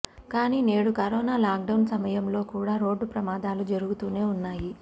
కానీ నేడు corona lockdown సమయంలో కూడా రోడ్డు ప్రమాదాలు జరుగుతూనే ఉన్నాయి